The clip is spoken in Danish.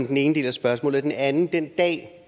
den ene del af spørgsmålet den anden del af